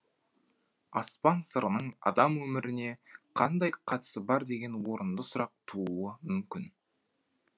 аспан сырының адам өміріне қандай қатысы бар деген орынды сұрақ тууы мүмкін